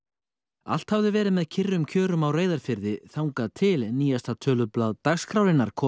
allt hafði verið með kyrrum kjörum á Reyðarfirði þangað til nýjasta tölublað dagskrárinnar kom